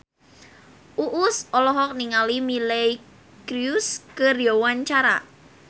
Uus olohok ningali Miley Cyrus keur diwawancara